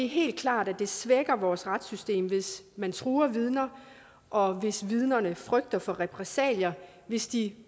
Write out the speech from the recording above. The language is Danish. helt klart at det svækker vores retssystem hvis man truer vidner og hvis vidnerne frygter for repressalier hvis de